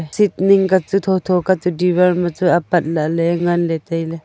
chit ning ka chu thotho ka chu diwar ma chu apat lahley ngan ley tailey.